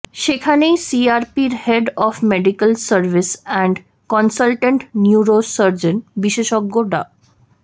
সেখানেই সিআরপির head of medical service and consultant neurosurgeon বিশেষজ্ঞ ডা